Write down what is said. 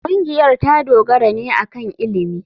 Ƙungiyar ta dogara ne akan ilimi.